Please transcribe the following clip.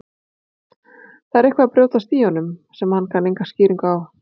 Það er eitthvað að brjótast í honum sem hann kann enga skýringu á.